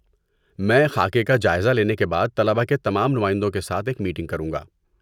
میں خاکے کا جائزہ لینے کے بعد طلبہ کے تمام نمائندوں کے ساتھ ایک میٹنگ کروں گا۔